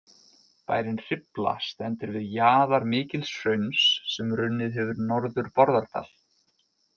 Bærinn Hrifla stendur við jaðar mikils hrauns sem runnið hefur norður Bárðardal.